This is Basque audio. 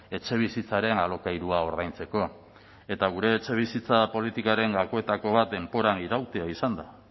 etxebizitzaren alokairua ordaintzeko eta gure etxebizitza politikaren gakoetako bat denboran irautea izan da